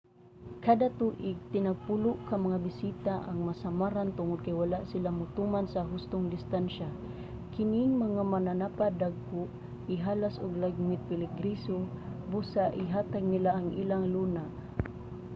kada tuig tinagpulo ka mga bisita ang masamaran tungod kay wala sila motuman sa hustong distansya. kining mga mananapa dagko ihalas ug lagmit peligroso busa ihatag nila ang ilang luna